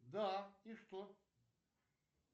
да и что